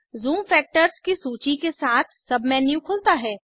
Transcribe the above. zoom factors की सूची के साथ सबमेन्यू खुलता है